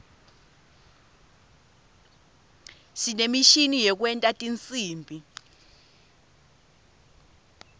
sinemishini yekwenta tinsimbi